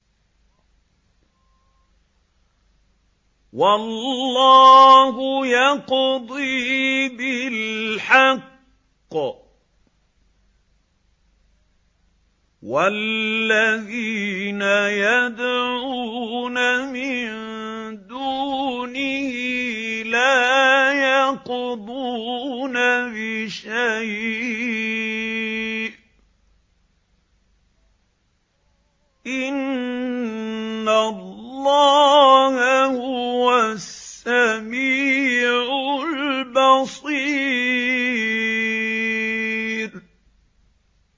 وَاللَّهُ يَقْضِي بِالْحَقِّ ۖ وَالَّذِينَ يَدْعُونَ مِن دُونِهِ لَا يَقْضُونَ بِشَيْءٍ ۗ إِنَّ اللَّهَ هُوَ السَّمِيعُ الْبَصِيرُ